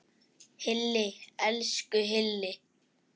Hilli, elsku Hilli!